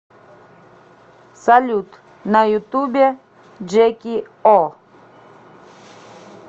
салют на ютубе джеки о